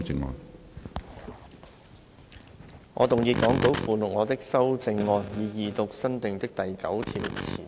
主席，我動議講稿附錄我的修正案，以二讀新訂的第9條前